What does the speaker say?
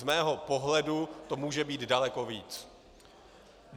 Z mého pohledu to může být daleko víc.